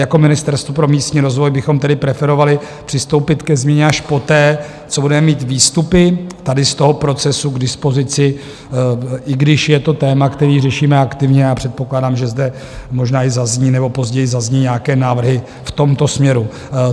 Jako Ministerstvo pro místní rozvoj bychom tedy preferovali přistoupit ke změně až poté, co budeme mít výstupy tady z toho procesu k dispozici, i když je to téma, které řešíme aktivně, a předpokládám, že zde možná i zazní - nebo později zazní - nějaké návrhy v tomto směru.